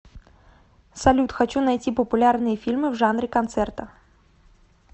салют хочу найти популярные фильмы в жанре концерта